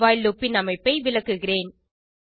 while loop ன் அமைப்பை விளக்குகிறேன்